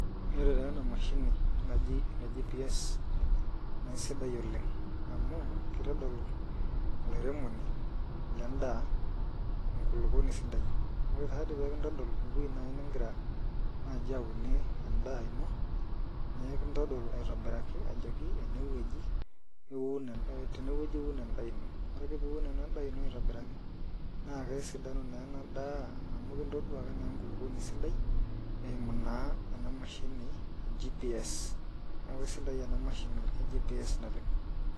Ore taa ena mashini naaji ene GPS naa isidai oleng amu kitodol olairemoni ledaa enkulupuoni sidai ore taadi pee kitodol ewueji naaji nigira naaji aunie endaa ino naa ekitodol aitobiraki ajoki ene wueji iun tenewueji iun indaa ino ore ake pee iun ena endaa ino aitobiraki naa kesidanu naa ena daa amu kitoduaki naa enkulupuoni sidai eimu naa ena mashini e GPS neaku isidai ena mashini e GPS naleng.